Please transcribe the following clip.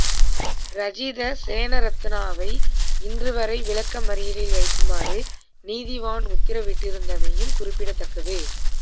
ராஜித சேனாரத்னவை இன்று வரை விளக்கமறியலில் வைக்குமாறு நீதிவான் உத்தரவிட்டிருந்தமையும் குறிப்பிடத்தக்கது